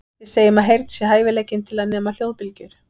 Við segjum að heyrn sé hæfileikinn til að nema hljóðbylgjur.